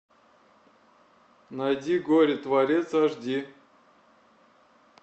найди горе творец аш ди